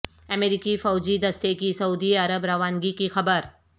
امریکی فوجی دستے کی سعودی عرب روانگی کی خبر